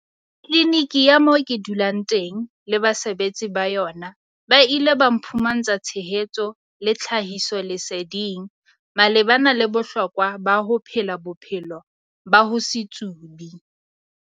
Tliniki ya moo ke dulang teng le basebetsi ba yona ba ile ba mphumantsha tshehetso le tlhahisoleseding malebana le bohlokwa ba ho phela bophelo ba ho se tsube.